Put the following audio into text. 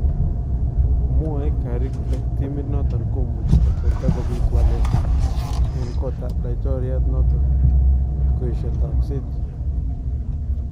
Mwae Curry kole timit noton komuchi kotorta kobiit waleet en kootab laitoriat noton kotkoesha takseet .